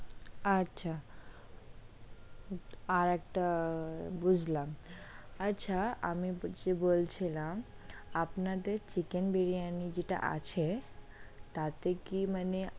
আচ্ছা আর একটা, বুঝলাম আচ্ছা, আপনি যে বলছিলাম, আপনার চিকেন বিরিয়ানি যেটা আছে, তাতে কি মানে?